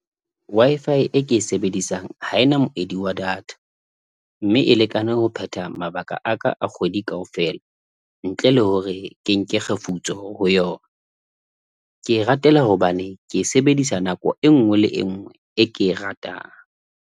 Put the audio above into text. Wi-Fi e ke e sebedisang ha e na moedi wa data mme e lekane ho phetha mabaka a ka a kgwedi kaofela, ntle le hore ke nke kgefutso ho yona. Ke e ratela hobane ke e sebedisa nako e nngwe le e nngwe e ke e ratang.